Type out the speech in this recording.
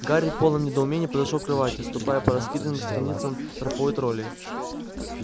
гарри в полном недоумении подошёл к кровати ступая по раскиданным страницам тропою троллей